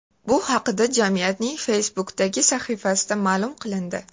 Bu haqda jamiyatning Facebook’dagi sahifasida ma’lum qilindi .